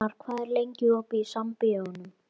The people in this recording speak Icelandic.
Hjarnar, hvað er lengi opið í Sambíóunum?